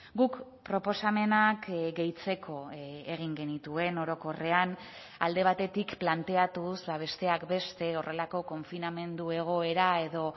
guk proposamenak gehitzeko egin genituen orokorrean alde batetik planteatuz besteak beste horrelako konfinamendu egoera edo